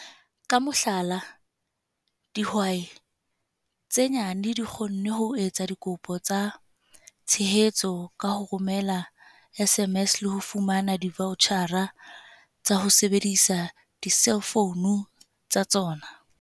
Ka mohlala, dihwai tse nyane di kgonne ho etsa dikopo tsa tshehetso ka ho romela SMS le ho fumana divaotjhara tsa ho sebedisa diselfounu tsa tsona.